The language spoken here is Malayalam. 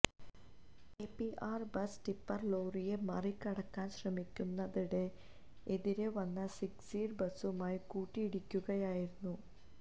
K P R bus tipper ലോറിയെ മറി കടക്കാന് ശ്രമിക്കുന്നതിനിടെ എതിരെ വന്ന സിക്സീര് ബസുമായി കൂട്ടിയിടിക്കുകയായിരുന്നു